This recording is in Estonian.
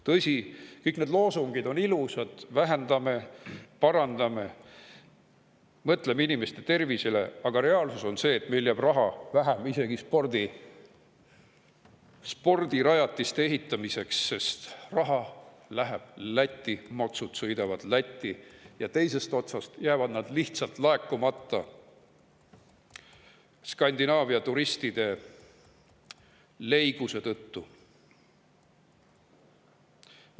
Tõsi, kõik need loosungid on ilusad – vähendame, mõtleme inimeste tervisele, parandame seda –, aga reaalsus on see, et meile jääb vähem raha isegi spordirajatiste ehitamiseks, sest raha läheb Lätti, maksu sõidavad Lätti ja teisest otsast jäävad need Skandinaavia turistide leiguse tõttu lihtsalt laekumata.